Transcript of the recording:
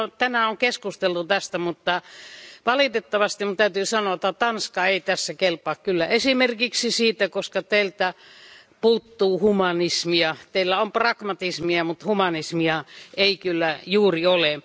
Täällä on tänään keskusteltu tästä, mutta valitettavasti minun täytyy sanoa, että Tanska ei tässä kelpaa kyllä esimerkiksi siitä, koska teiltä puuttuu humanismia. Teillä on pragmatismia mutta humanismia ei kyllä juuri ole.